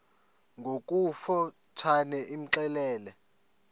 ngokofu tshane imxelele